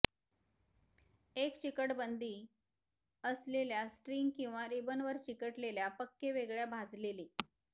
एक चिकट बंदी असलेल्या स्ट्रिंग किंवा रिबनवर चिकटलेल्या पक्के वेगळ्या भाजलेले